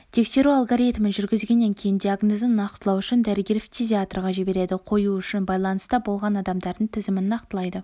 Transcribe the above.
тексеру алгоритмін жүргізгеннен кейін диагнозын нақтылау үшін дәрігер-фтизиатрға жібереді қою үшін байланыста болған адамдардың тізімін нақтылайды